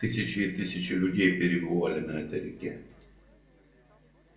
тысячи и тысячи людей перебывали на этой реке